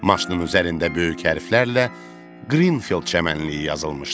Maşının üzərində böyük hərflərlə Qrinfield çəmənliyi yazılmışdı.